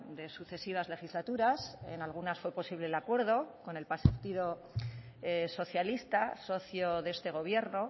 de sucesivas legislaturas en algunas fue posible el acuerdo con el partido socialista socio de este gobierno